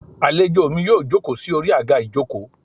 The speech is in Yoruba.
Alèjọ mí yóò jokọ́ sí Ori agá ìjokò